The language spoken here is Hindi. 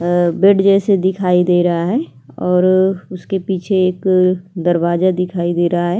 अ-अ बेड जैसे दिखाई दे रहा है और उसके पीछे एक दरवाजा दिखाई दे रहा है।